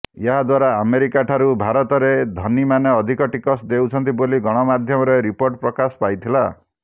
ଏହାଦ୍ବାରା ଆମେରିକାଠାରୁ ଭାରତରେ ଧନୀମାନେ ଅଧିକ ଟିକସ ଦେଉଛନ୍ତି ବୋଲି ଗଣମାଧ୍ୟମରେ ରିପୋର୍ଟ ପ୍ରକାଶ ପାଇଥିଲା